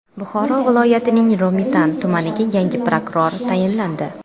Buxoro viloyatining Romitan tumaniga yangi prokuror tayinlandi.